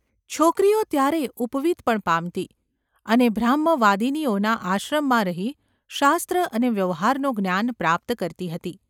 છોકરીઓ ત્યારે ઉપવીત પણ પામતી અને બ્રાહ્મવાદિનીઓના આશ્રમમાં રહી શાસ્ત્ર અને વ્યવહારનું જ્ઞાન પ્રાપ્ત કરતી હતી.